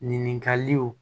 Ɲininkaliw